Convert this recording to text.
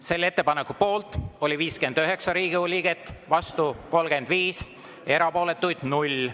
Selle ettepaneku poolt oli 59 Riigikogu liiget, vastu 35, erapooletuid 0.